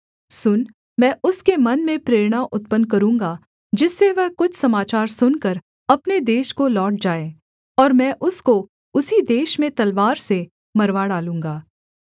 सुन मैं उसके मन में प्रेरणा उत्पन्न करूँगा जिससे वह कुछ समाचार सुनकर अपने देश को लौट जाए और मैं उसको उसी देश में तलवार से मरवा डालूँगा